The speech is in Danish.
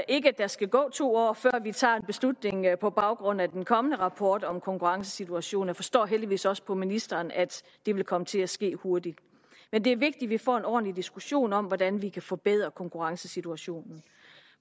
ikke der skal gå to år før vi tager en beslutning på baggrund af den kommende rapport om konkurrencesituationen forstår heldigvis også på ministeren at det vil komme til at ske hurtigt men det er vigtigt at vi får en ordentlig diskussion om hvordan vi kan forbedre konkurrencesituationen